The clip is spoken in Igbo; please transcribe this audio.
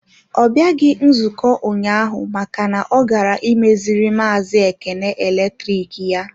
Ọ bịaghị nzukọ ụnyaahụ maka na ọ gara imeziri maazi Ekene eletrik ya.